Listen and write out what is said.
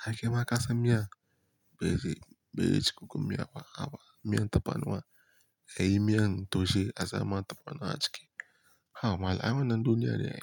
Har kaima kasan miyan. Bere, bere cikokun miya a'a ba. Miya tafarnuwa, ai miyan toshe a sama tafarnuwa a ciki. Ha ba ai wan nan duniya ne ai.